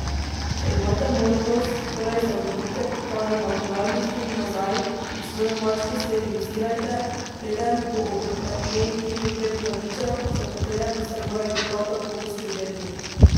Če imate možnost, torej zavrtite ta imaginarni film nazaj in svojo mačko sterilizirajte, preden bo ob njej tri do pet mladičev, za katere boste morali prav tako poskrbeti.